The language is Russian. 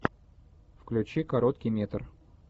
включи короткий метр